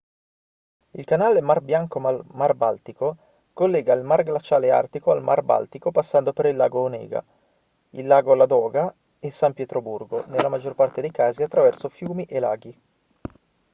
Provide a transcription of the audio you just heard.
il canale mar bianco-mar baltico collega il mar glaciale artico al mar baltico passando per il lago onega il lago ladoga e san pietroburgo nella maggior parte dei casi attraverso fiumi e laghi